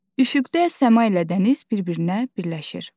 Üfüqdə səma ilə dəniz bir-birinə birləşir.